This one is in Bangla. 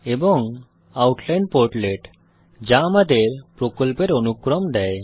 এবং আউটলাইন পোর্টলেট যা আমাদের প্রকল্পের অনুক্রম দেয়